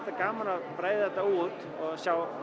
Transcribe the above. gaman að breiða þetta út og